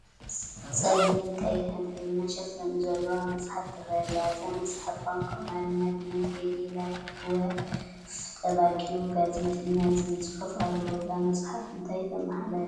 ፀሊምን ቀይሕን ሕብሪ መሸፈኒ ዘለዋ መፅሓፍ ትረአ ኣላ፡፡ አዛ መፅሓፍ ብቋንቋ ኣማርኛ "በመንገዴ ላይ ወፍ ጠባቂው ጋዜጤኛ" ዝብል ፅሑፍ ኣለዋ፡፡ እዛ መፅሓፍ እንታይ ተማሓላልፍ ይመስለኩም?